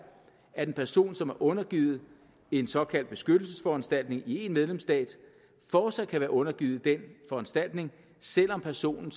at en person som er undergivet en såkaldt beskyttelsesforanstaltning i en medlemsstat fortsat kan være undergivet den foranstaltning selv om personen